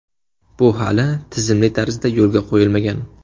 Bu hali tizimli tarzda yo‘lga qo‘yilmagan.